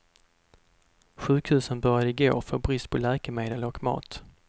Sjukhusen började igår få brist på läkemedel och mat.